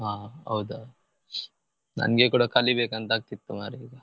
ಹಾ ಹೌದಾ ನಂಗೆ ಕೂಡ ಕಲಿಬೇಕು ಅಂತ ಆಗ್ತಾ ಇತ್ತು ಮರ್ರೆ.